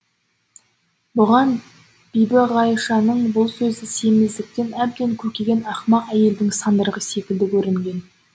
бұған бибіғайшаның бұл сөзі семіздіктен әбден көкіген ақымақ әйелдің сандырағы секілді көрінген